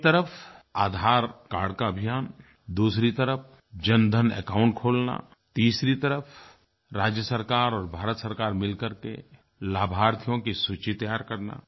एक तरफ़ आधार कार्ड का अभियान दूसरी तरफ़ जनधन एकाउंट खोलना तीसरी तरफ़ राज्य सरकार और भारत सरकार मिल कर के लाभार्थियों की सूची तैयार करना